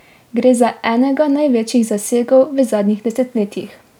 Gre za enega največjih zasegov v zadnjih desetletjih.